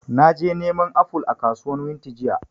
Naje neman aful a kasuwan wunti jiya